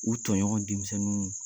U tɔɲɔgɔn denmisɛnninw